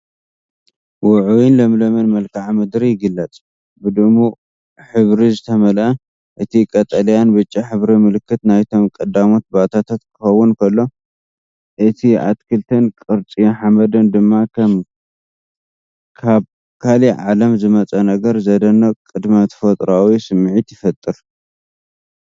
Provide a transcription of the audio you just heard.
ውዑይን ለምለምን መልክዓ ምድሪ ይግለጽ፣ ብድሙቕ ሕብሪ ዝተመልአ። እቲ ቀጠልያን ብጫን ሕብሪ ምልክት ናይቶም ቀዳሞት ባእታታት ክኸውን ከሎ፡ እቲ ኣትክልትን ቅርጺ ሓመድን ድማ ከም ካብ ካልእ ዓለም ዝመጸ ነገር፡ ዘደንቕ ቅድመ-ተፈጥሮኣዊ ስምዒት ይፈጥር።